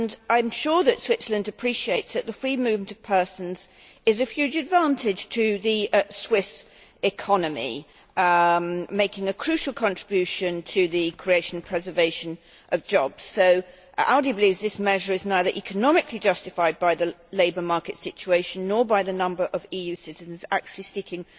I am sure that Switzerland appreciates that the free movement of persons is of huge advantage to the Swiss economy, making a crucial contribution to the creation and preservation of jobs. ALDE believes that this measure is neither economically justified by the labour market situation, nor by the number of EU citizens actually seeking